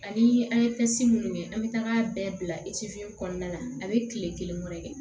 Ani an ye minnu kɛ an bɛ taga bɛɛ bila kɔnɔna la a bɛ tile kelen kɔnɔ